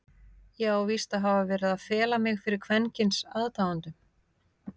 Ég á víst að hafa verið að fela mig fyrir kvenkyns aðdáendum?!